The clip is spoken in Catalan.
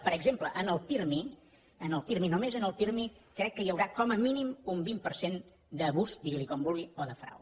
per exemple en el pirmi només en el pirmi crec hi haurà com a mínim un vint per cent d’abús digui’n com vulgui o de frau